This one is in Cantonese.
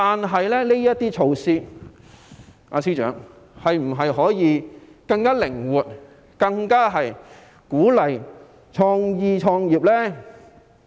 可是，司長，這些措施可否更具靈活性，以鼓勵創意、創業呢？